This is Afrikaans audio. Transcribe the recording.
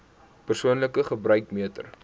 persoonlike gebruik meter